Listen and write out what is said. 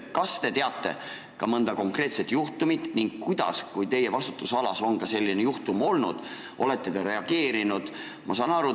Kas te teate mõnda konkreetset juhtumit oma vastutusalas ja kui on selline juhtum olnud, kuidas olete reageerinud?